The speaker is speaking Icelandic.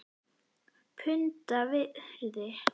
Punda virði??!?